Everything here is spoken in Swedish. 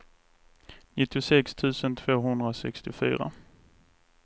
nittiosex tusen tvåhundrasextiofyra